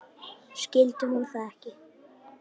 Skildi hún það ekki?